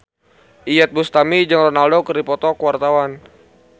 Iyeth Bustami jeung Ronaldo keur dipoto ku wartawan